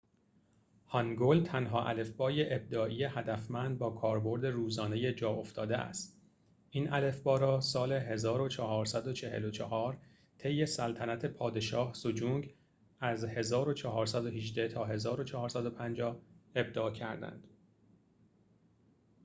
هانگول تنها الفبای ابداعی هدفمند با کاربرد روزانه جاافتاده است. این الفبا را سال 1444 طی سلطنت پادشاه سجونگ 1418 - 1450 ابداع کردند